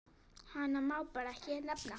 Hana má bara ekki nefna.